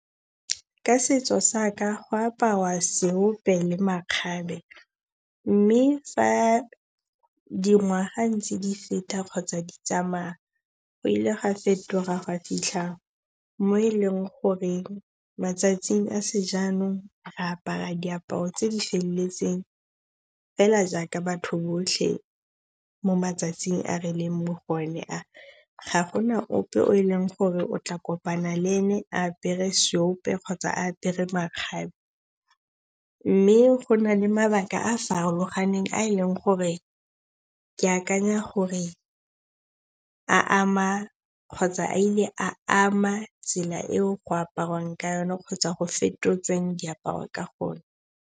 Ka setso sa ka go aparwa seope le makgabe. Mme fa dingwaga ntse di feta kgotsa di tsamaa, go ile ga fetoga gwa fitlha mo e leng gore matsatsing a sejaanong, re apara diaparo tse di feleletseng jaaka batho botlhe mo matsatsing a re leng mo go one a. Ga gona ope o e leng gore o tla kopana le ene a apere seope kgotsa apere makgabe. Mme go na le mabaka a a farologaneng a e leng gore ke akanya gore a ama kgotsa a ile a ama tsela eo go aparwang ka yona kgotsa go fetotsweng diaparo ka gone.